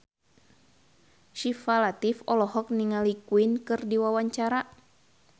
Syifa Latief olohok ningali Queen keur diwawancara